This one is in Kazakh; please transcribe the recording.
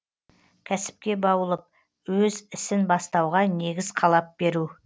кәсіпке баулып өз ісін бастауға негіз қалап беру